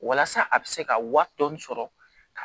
Walasa a bɛ se ka waa dɔɔni sɔrɔ ka